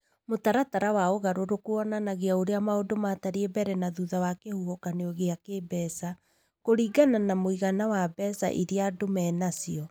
Mũtaratara wa ũgarũrũku wonanagia ũrĩa maũndũ maatariĩ mbere na thutha wa kĩhuhũkanio kĩa kĩĩmbeca, kũringana na mũigana wa mbeca iria andũ menacio.